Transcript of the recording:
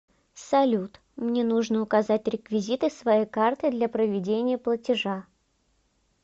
салют мне нужно указать реквизиты своей карты для проведения платежа